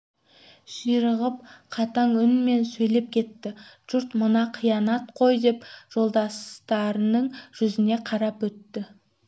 ширығып қатаң үнмен сөйлеп кетті жұрт мынау қиянат қой деп жолдастарының жүзіне қарап өтті